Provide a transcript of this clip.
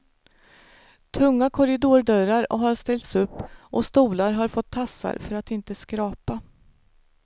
Tunga korridordörrar har ställts upp och stolar har fått tassar för att inte skrapa.